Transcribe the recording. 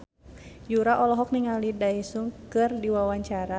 Yura olohok ningali Daesung keur diwawancara